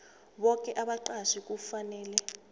boke abaqatjhi kufanele